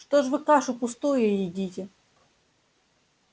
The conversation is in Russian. что ж вы кашу пустую едите